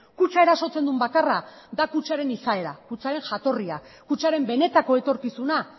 kutxa erasotzen duen bakarra da kutxaren izaera kutxaren jatorria kutxaren benetako etorkizuna